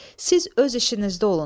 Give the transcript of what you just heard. Siz öz işinizdə olun.